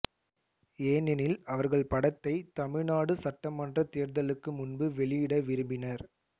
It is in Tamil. ஏனெனில் அவர்கள் படத்தை தமிழ்நாடு சட்டமன்றத் தேர்தலுக்கு முன்பு வெளியிட விரும்பினர்